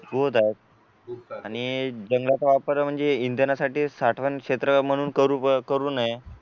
रोधक आणि जंगलाचा वापर म्हणजे इंधनासाठी साठवण क्षेत्र म्हणून करू करू नये